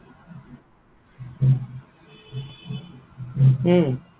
উম